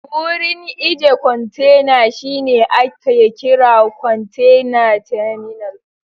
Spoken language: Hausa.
Wurin ije kontena shine ake kira kontena taminal